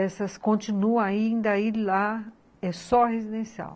Essas continuam ainda, e lá é só residencial.